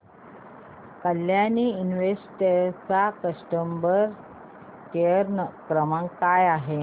Kalyani invest चा customer care क्रमांक काय आहे